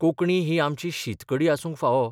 कोंकणी ही आमची शीत कडी आसूंक फावो.